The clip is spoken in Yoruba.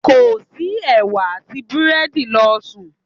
Kò sí ẹ̀wà àti búrẹ́dì, lọ sùn.